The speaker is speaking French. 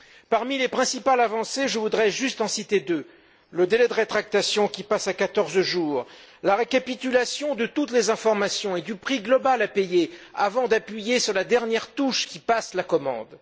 Parmi les principales avancées, je voudrais en citer deux le délai de rétractation, qui passe à quatorze jours, et la récapitulation de toutes les informations et du prix global à payer, avant d'appuyer sur la dernière touche qui passe la commande.